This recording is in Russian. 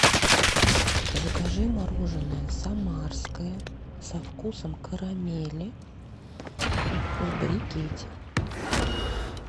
закажи мороженное самарское со вкусом карамели в брикете